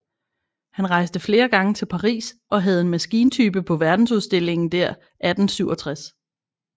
Han rejste flere gange til Paris og havde en maskintype på verdensudstillingen der 1867